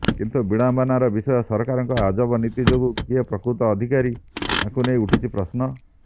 କିନ୍ତୁ ବିଡ଼ମ୍ବନାର ବିଷୟ ସରକାରଙ୍କ ଅଜବ ନୀତି ଯୋଗୁ କିଏ ପ୍ରକୃତ ଅଧିକାରୀ ତାଙ୍କୁ ନେଇ ଉଠିଛି ପ୍ରଶ୍ନ